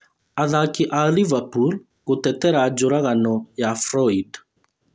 Athaki a liverpool gũtetera njũragano ya Floyd